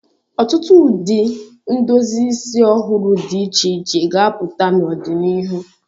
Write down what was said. Ọtụtụ ụdị ndozi isi ọhụrụ dị iche iche ga-apụta n'ọdịnihu.